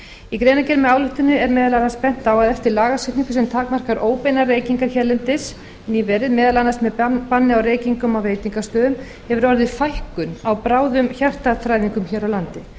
í greinargerð með ályktuninni er meðal annars bent á að eftir lagasetningu sem takmarkar óbeinar reykingar hérlendis nýverið meðal annars með banni á reykingum á veitingastöðum hefur orðið fækkun á bráðum hjartaþræðingum hér á landi